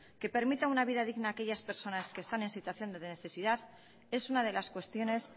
que permita un vida digna a aquellas personas que están en una situación de necesidad es una de las cuestiones